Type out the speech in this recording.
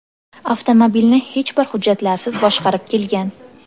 avtomobilni hech bir hujjatlarsiz boshqarib kelgan.